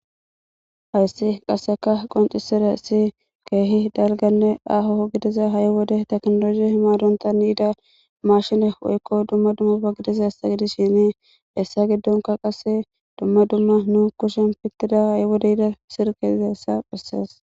Hayssi qasseka qoncisira ssi keehi dalganne aho gidiza ha7i wode teknolosi himadonta niida mashine woykko dumma dummafa gidiza hessa gidis shinii dessa giddonka qase dumma dumma nu kushin pittida ha7i wodeyda sirqe izaessa phessees.